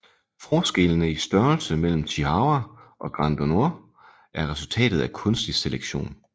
Forskellene i størrelse imellem Chihuahua og Granddanois er resultatet af kunstig selektion